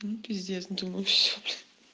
здесь думаю все блять